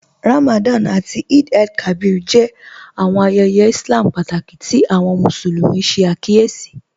Ramadan àtí Eid-el-Kabir jẹ́ àwọn ayéyé Ìslám pátákí tí àwọn Musulumi ṣẹ̀ àkíyèsí